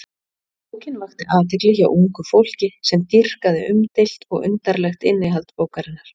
Bókin vakti athygli hjá ungu fólki sem dýrkaði umdeilt og undarlegt innihald bókarinnar.